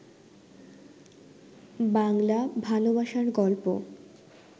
বাংলা ভালবাসার গল্প